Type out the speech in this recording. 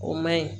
O maɲi